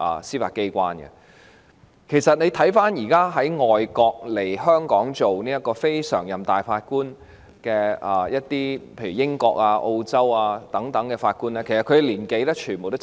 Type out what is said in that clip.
事實上，大家看到現時從外國——例如英國和澳洲等地——來港擔任終審法院非常任法官的人士，全部均是七